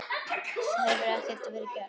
Það hefur ekki verið gert.